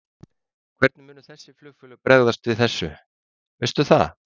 Ásgeir Erlendsson: Hvernig munu þessi flugfélög bregðast við þessu, veistu það?